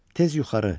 Tez yuxarı.